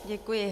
Děkuji.